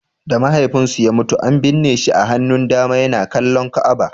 Da mahaifinsu ya mutu, an binne shi a hannun dama yana kallon Ka'aba.